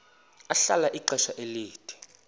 ahlala ixesha elide